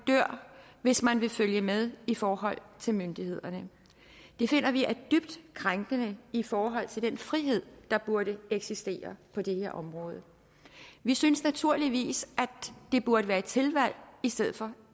dør hvis man vil følge med i forhold til myndighederne det finder vi er dybt krænkende i forhold til den frihed der burde eksistere på det her område vi synes naturligvis at det burde være et tilvalg i stedet for